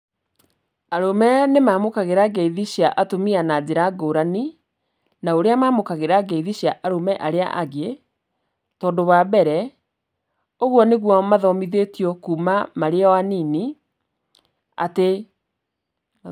Arũme nĩ mamũkagĩra ngeithi cia atumia na njĩra ngũrani, na ũrĩa mamũkagĩra ngeithi cia arĩa angĩ, tondũ wambere, ũguo nĩguo mathomithĩtio kuuma marĩ o anini atĩ.